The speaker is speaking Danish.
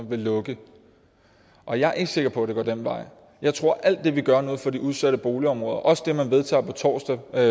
vil lukke og jeg er ikke sikker på at det går den vej jeg tror at alt det vi gør nu for de udsatte boligområder også det man vedtager på torsdag og